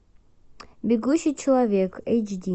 бегущий человек эйч ди